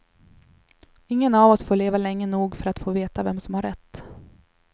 Ingen av oss får leva länge nog för att få veta vem som har rätt.